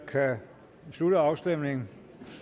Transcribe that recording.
slutter afstemningen